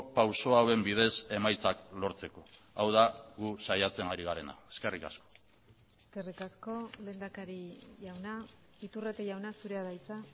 pauso hauen bidez emaitzak lortzeko hau da gu saiatzen ari garena eskerrik asko eskerrik asko lehendakari jauna iturrate jauna zurea da hitza